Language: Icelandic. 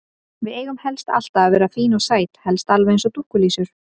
Við eigum helst alltaf að vera fín og sæt, helst alveg eins og dúkkulísur.